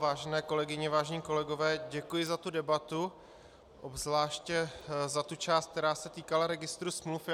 Vážené kolegyně, vážení kolegové, děkuji za tu debatu, obzvláště za tu část, která se týkala registru smluv.